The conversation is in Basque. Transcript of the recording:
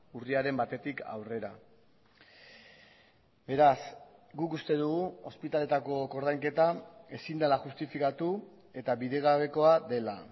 urriaren batetik aurrera beraz guk uste dugu ospitaletako koordainketa ezin dela justifikatu eta bidegabekoa dela